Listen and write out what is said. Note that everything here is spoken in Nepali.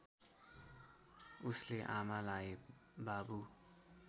उसले आमालाई बाबु